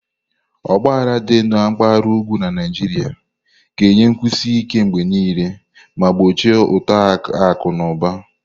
Ọgba aghara dị na mpaghara ugwu na Naijiria ga-eyi nkwụsi ike mgbe niile ma gbochie uto akụ na ụba.